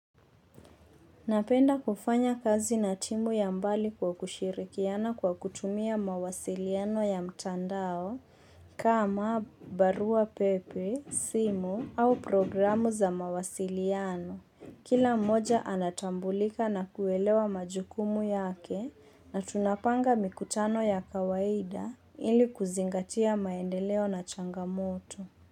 Napenda kufanya kazi na timu ya mbali kwa kushirikiana kwa kutumia mawasiliano ya mtandao kama barua pepe, simu au programu za mawasiliano. Kila mmoja anatambulika na kuelewa majukumu yake na tunapanga mikutano ya kawaida ili kuzingatia maendeleo na changamoto.